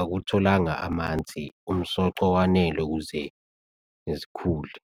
akutholanga amanzi, umsoco owanele ukuze zikhule.